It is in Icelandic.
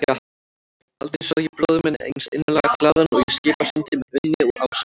Aldrei sá ég bróður minn eins innilega glaðan og í Skipasundi með Unni og Ásu.